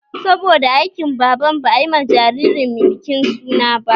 Saboda aikin Baban ba ayi ma jiririn bikin suna ba